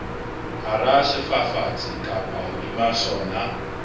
hara sefafatsi kapa hodima sona